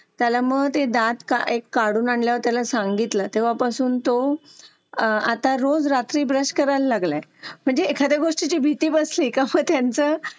हम्म. त्याच्यामुळे मच्छर होता तेव्हाच होतो. त्याच्यामुळे वेगवेगळ्या ऍलर्जी तयार होतात तर हे कचऱ्यामुळे सुद्धा होतो. म्हणजे आपण दारोदारी जो कचरा टाकतात. लोकं किंवा रस्त्याने असतो त्याची व्यवस्थित विल्हेवाट झाली ना तर अजून आपल्याला थोडं हे तीन राहण्यास नक्कीच मदत होईल.